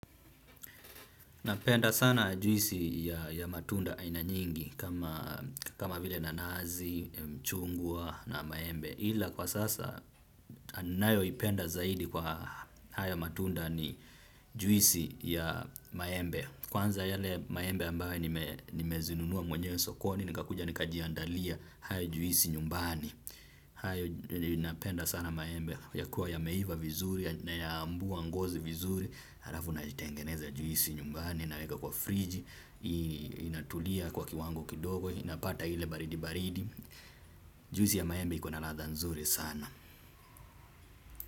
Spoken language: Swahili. Napenda sana juisi ya matunda aina nyingi kama vile nanasi, mchungwa na maembe. Ila kwa sasa, nayoipenda zaidi kwa haya matunda ni juisi ya maembe. Kwanza yale maembe ambayo nimezinunua mwenyewe sokoni, nikakuja, nikajiandalia haya juisi nyumbani. Hayo napenda sana maembe yakue yameiva vizuri na ya ambua ngozi vizuri halafu naitengeneza juisi nyumbani naweka kwa friji inatulia kwa kiwango kidogo inapata ile baridi baridi juisi ya maembe iko na ladha nzuri sana.